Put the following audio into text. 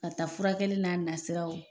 K'a taa furakɛli n'a nasiraw